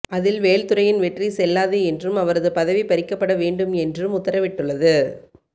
அதில் வேல்துரையின் வெற்றி செல்லாது என்றும் அவரது பதவி பறிக்கப்பட வேண்டும் என்றும் உத்தரவிட்டுள்ளது